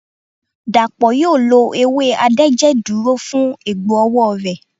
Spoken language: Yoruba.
Dàpọ̀ yóò lo ewé adẹ́jẹ̀dúró fún egbò ọwọ́ rẹ̀.